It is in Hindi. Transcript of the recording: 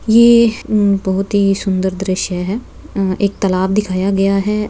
ये हम्म बहुत ही सुंदर दृश्य है। अ एक तालाब दिखाया गया है।